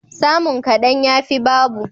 Samun kadan, yafi babu.